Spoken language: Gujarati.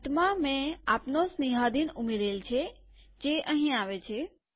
અંતમાંમેં આપનો સ્નેહાધીન ઉમેરેલ છેજે અહીં આવે છે